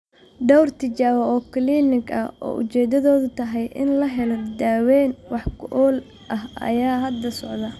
Dhowr tijaabo oo kiliinig ah oo ujeedadoodu tahay in la helo daaweyn wax ku ool ah ayaa hadda socda.